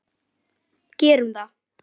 Gerum það!